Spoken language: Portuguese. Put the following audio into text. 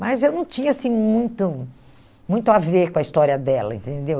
Mas eu não tinha assim muito muito a ver com a história dela, entendeu?